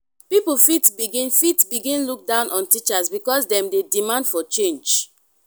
pipo fit begin fit begin look down on teachers because dem dey demand for change